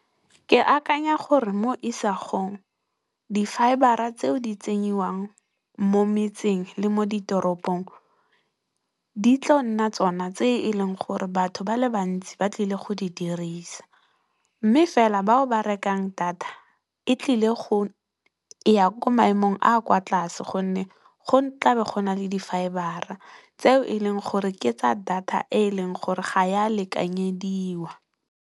Ke akanya gore mo isagong di fayebara tseo di tsenyiwang mo metseng le mo ditoropong di tlo nna tsona tse e leng gore batho ba le bantsi ba tlile go di dirisa. Mme, fela bao ba rekang data e tlile go ya ko maemong a a kwa tlase gonne go tla be go na le di fayebara tseo e leng gore ke tsa data e e leng gore ga ya lekanyediwa.